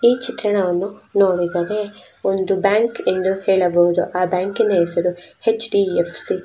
ಈ ಚಿತ್ರಣವನ್ನು ನೋಡುವುದಾದ್ರೆ ಒಂದು ಬ್ಯಾಂಕ್ ಎಂದು ಹೇಳಬಹುದು ಆ ಬ್ಯಾಂಕಿನ ಹೆಸರು ಹೆಚ್ .ಡಿ. ಎಫ್. ಸಿ